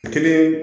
Kelen